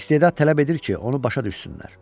İstedad tələb edir ki, onu başa düşsünlər.